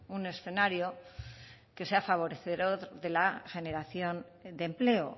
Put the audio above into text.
un escenario que sea favorecedor de la generación de empleo